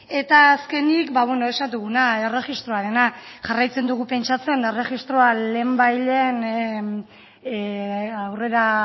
eta azkenik esan duguna erregistroarena jarraitzen dugu pentsatzen erregistroa lehenbailehen aurrera